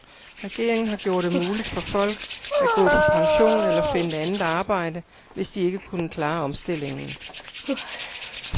Regeringen har gjort det muligt for folk at gå på pension eller finde andet arbejde, hvis de ikke kunne klare omstillingen.